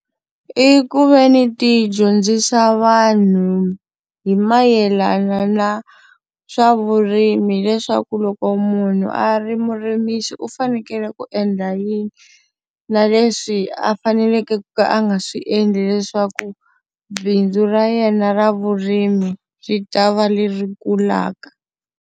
I ku ve ni ti dyondzisa vanhu hi mayelana na swa vurimi leswaku loko munhu a ri murimisi u fanekele ku endla yini, na leswi a faneleke ku ka a nga swi endli leswaku bindzu ra yena ra vurimi ri ta va leri kulaka.